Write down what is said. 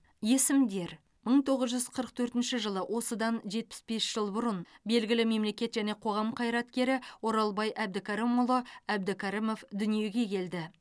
есімдер мың тоғыз жүз қырық төртінші жылы осыдан жетпіс бес жыл бұрын белгілі мемлекет және қоғам қайраткері оралбай әбдікәрімұлы әбдікәрімов дүниеге келді